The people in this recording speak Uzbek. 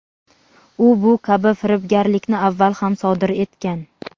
u bu kabi firibgarlikni avval ham sodir etgan.